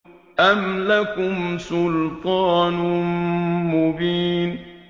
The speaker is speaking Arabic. أَمْ لَكُمْ سُلْطَانٌ مُّبِينٌ